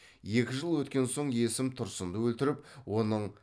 екі жыл өткен соң есім тұрсынды өлтіріп оның